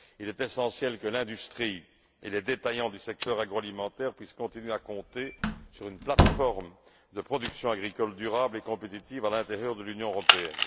Il est essentiel que l'industrie et les détaillants du secteur agroalimentaire puissent continuer à compter sur une plateforme de production agricole durable et compétitive à l'intérieur de l'Union européenne.